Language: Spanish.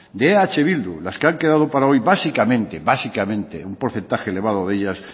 de eh bildu las que han quedado par hoy básicamente un porcentaje elevado de ellas